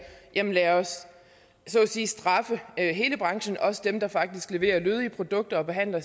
sige at straffe hele branchen også dem der faktisk leverer lødige produkter og behandler